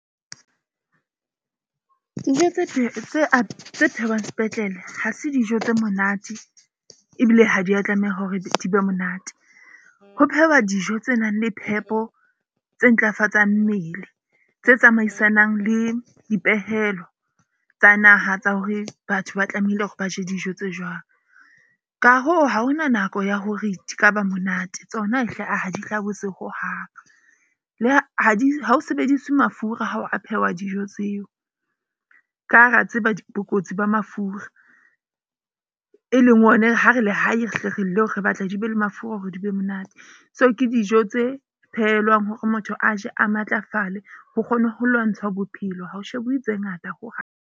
Dijo tse phehwang sepetlele ha se dijo tse monate. Ebile ha di ya tlameha hore di be monate. Ho phehwa dijo tse nang le phepo tse ntlafatsang mmele tse tsamaisanang le dipehelo tsa naha tsa hore, batho ba tlamehile hore ba je dijo tse jwang. Ka hoo, ha hona nako ya hore di ka ba monate tsona hle, aa ha di hlabose hohang. Le ha ha ho sebedise mafura ha ho phehwa dijo tseo, ka ha re a tseba bokotsi ba mafura. E leng ona e re ha re le hae re batla di be le mafura hore di be monate. Tseo ke dijo tse phehelwang hore motho a je a matlafale. Ho kgone ho lwantshwa bophelo ha ho shebuwe tse ngata hohang.